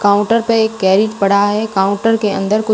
counter पे एक पड़ा है काउंटर के अंदर कु--